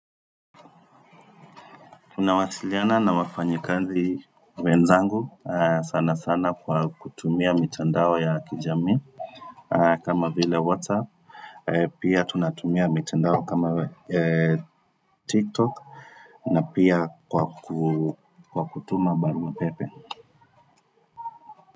Tunawasiliana na wafanyekazi wenzangu sana sana kwa kutumia mitandao ya kijamii kama vile WhatsApp Pia tunatumia mitandao kama TikTok na pia kwa kutuma barua pepe.